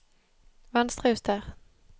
Venstrejuster